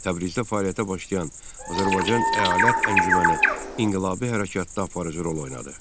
Təbrizdə fəaliyyətə başlayan Azərbaycan əyalət əncüməni inqilabi hərəkatda aparıcı rol oynadı.